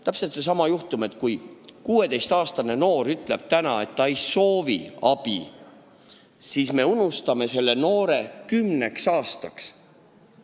Ja seesama juhtum: kui 16-aastane noor ütleb praegu, et ta ei soovi abi, siis me unustame ta kümneks aastaks.